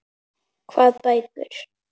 Hvað bækur?